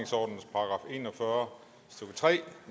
og fyrre stykke tre